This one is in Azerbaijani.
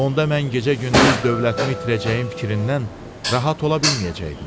Onda mən gecə-gündüz dövlətimi itirəcəyim fikrindən rahat ola bilməyəcəkdim.